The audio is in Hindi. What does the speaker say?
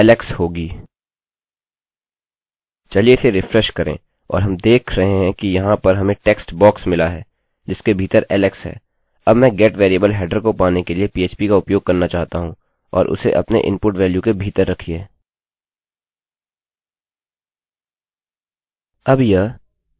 चलिए इसे रिफ्रेश करें और हम देख रहे हैं कि यहाँ पर हमें टेक्स्ट बॉक्स मिला है जिसके भीतर alex है अब मैं गेटgetवेरिएबल हेडर को पाने के लिए पीएचपी का उपयोग करना चाहता हूँ और उसे अपने इनपुट वेल्यूमान के भीतर रखिये